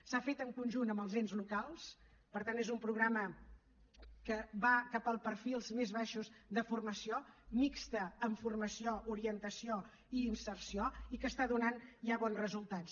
s’ha fet en conjunt amb els ens locals per tant és un programa que va cap als perfils més baixos de formació mixt amb formació orientació i inserció i que està donant ja bons resultats